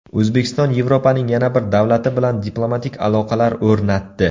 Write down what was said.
O‘zbekiston Yevropaning yana bir davlati bilan diplomatik aloqalar o‘rnatdi.